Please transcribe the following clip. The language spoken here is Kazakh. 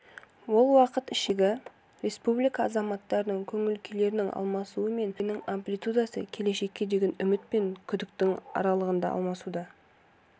ол уақыт ішіндегі республика азаматтарының көңілкүйлерінің алмасуы мен өзгерістерінің амплитудасы келешекке деген үміт пен күдіктің аралығында алмасуда